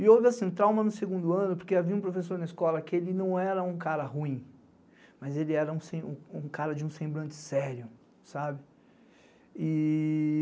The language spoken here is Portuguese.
E houve assim, trauma no segundo ano, porque havia um professor na escola que ele não era um cara ruim, mas ele era um cara de um semblante sério, sabe? e e e